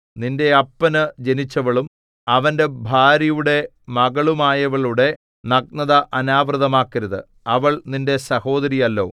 നിന്റെ അപ്പനു ജനിച്ചവളും അവന്റെ ഭാര്യയുടെ മകളുമായവളുടെ നഗ്നത അനാവൃതമാക്കരുത് അവൾ നിന്റെ സഹോദരിയല്ലോ